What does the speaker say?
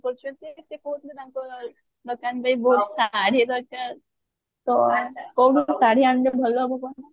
କରୁଛନ୍ତି ସେ କହୁଥିଲେ ତାଙ୍କ ଦୋକାନ ରେ ବହୁତ ଶାଢୀ ଦରକାର ତ କଉଠୁ ଶାଢୀ ଆଣିଲେ ଭଲ ହବ କହନା